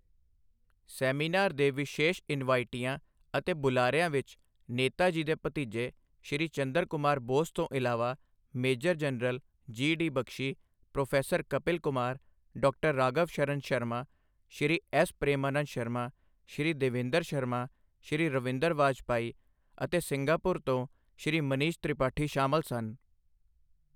Seminar ਦੇ ਵਿਸ਼ੇਸ਼ ਇਨਵਾਈਟੀਆਂ ਅਤੇ ਬੁਲਾਰਿਆਂ ਵਿਚ ਨੇਤਾ ਜੀ ਦੇ ਭਤੀਜੇ ਸ਼੍ਰੀ ਚੰਦਰ ਕੁਮਾਰ ਬੋਸ ਤੋਂ ਇਲਾਵਾ major general G D Bakshi, professor Kapil Kumar, ਡਾ ਰਾਘਵ ਸ਼ਰਨ ਸ਼ਰਮਾ, ਸ੍ਰੀ ਐਸ ਪ੍ਰੇਮਾਨੰਦ ਸ਼ਰਮਾ, ਸ੍ਰੀ ਦੇਵੇਂਦਰ ਸ਼ਰਮਾ, ਸ੍ਰੀ ਰਵਿੰਦਰ ਵਾਜਪਾਈ ਅਤੇ ਸਿੰਗਾਪੁਰ ਤੋਂ ਸ੍ਰੀ ਮਨੀਸ਼ ਤ੍ਰਿਪਾਠੀ ਸ਼ਾਮਲ ਸਨ।